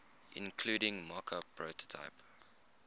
including mockup prototype